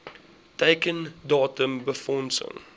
teiken datum befondsing